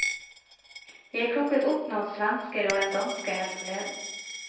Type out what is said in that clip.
Jeg plukket opp noen svensker og en danske her forleden.